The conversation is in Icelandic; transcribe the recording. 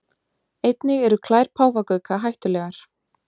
Einnig eru klær páfagauka hættulegar.